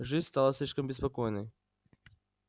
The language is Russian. жизнь стала слишком беспокойной